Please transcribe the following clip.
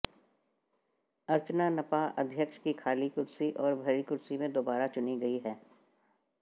अर्चना नपा अध्यक्ष की खाली कुर्सी और भरी कुर्सी में दोबारा चुनी गई हैं